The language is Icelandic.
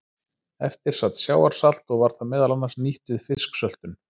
Eftir sat sjávarsalt og var það meðal annars nýtt við fisksöltun.